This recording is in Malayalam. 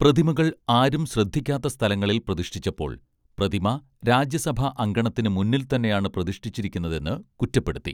പ്രതിമകൾ ആരും ശ്രദ്ധിക്കാത്ത സ്ഥലങ്ങളിൽ പ്രതിഷ്ഠിച്ചപ്പോൾ പ്രതിമ രാജ്യസഭാ അങ്കണത്തിനു മുന്നിൽ തന്നെയാണ് പ്രതിഷ്ഠിച്ചിരിക്കുന്നതെന്ന് കുറ്റപ്പെടുത്തി